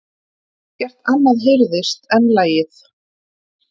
Ekkert annað heyrðist en lagið.